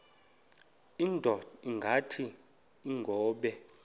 indod ingaty iinkobe